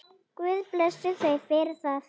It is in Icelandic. Guð blessi þau fyrir það.